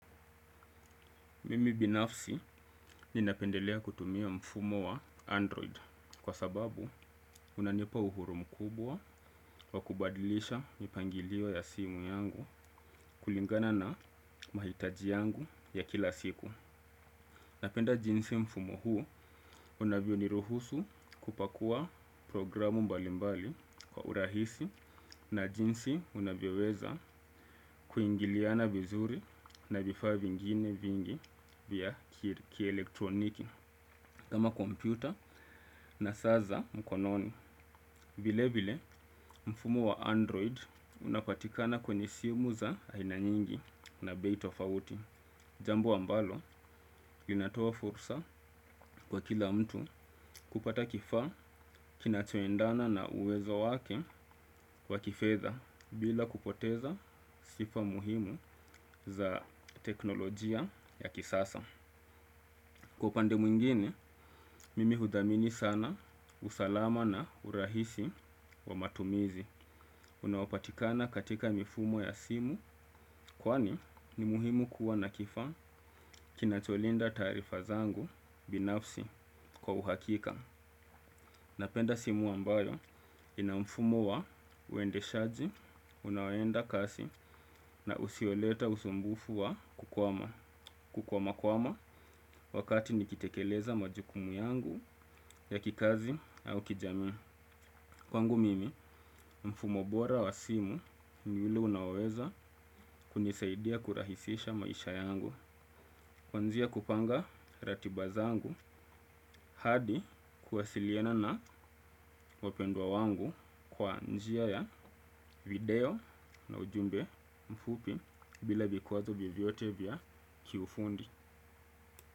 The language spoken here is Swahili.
Mimi binafsi ninapendelea kutumia mfumo wa Android kwa sababu unanipa uhuru mkubwa wa kubadilisha mipangilio ya simu yangu kulingana na mahitaji yangu ya kila siku. Napenda jinsi mfumo huu unavyo niruhusu kupakua programu mbali mbali kwa urahisi na jinsi unavyoweza kuingiliana vizuri na vifaa vingine vingi vya kielektroniki. Kama kompyuta na saa za mkononi, vile vile mfumo wa android unapatikana kwenye simu za aina nyingi na bei tofauti. Jambu ambalo inatoa fursa kwa kila mtu kupata kifaa kinachoendana na uwezo wake kwa kifedha bila kupoteza sifa muhimu za teknolojia ya kisasa. Kwa upande mwingine, mimi hudhamini sana usalama na urahisi wa matumizi. Unaopatikana katika mifumo ya simu kwani ni muhimu kuwa na kifaa kinacholinda taarifa zangu binafsi kwa uhakika. Napenda simu ambayo ina mfumo wa uendeshaji, unaoenda kasi na usioleta usumbufu wa kukwama. Kukwamakwama wakati nikitekeleza majukumu yangu ya kikazi au kijamii. Kwangu mimi mfumo bora wa simu ni ule unaoweza kunisaidia kurahisisha maisha yangu. Kwazia kupanga ratiba zangu hadi kuwasiliana na wapendwa wangu kwa njia ya video na ujumbe mfupi bila vikwazo vyovyote vya kiufundi.